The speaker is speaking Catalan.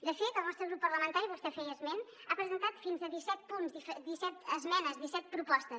de fet el nostre grup parlamentari vostè en feia esment ha presentat fins a disset punts disset esmenes disset propostes